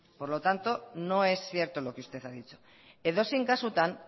por lo tanto no es cierto lo que usted ha dicho edozein kasutan